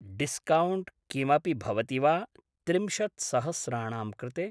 discount किमपि भवति वा त्रिंशत् सहस्राणां कृते